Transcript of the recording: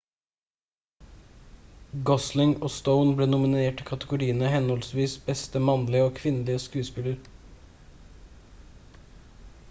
gosling og stone ble nominert i kategoriene henholdsvis beste mannlige og kvinnelig skuespiller